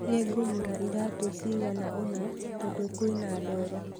Nĩ ngũgũra iratũ cagana ũna tondũ kwĩna ndoro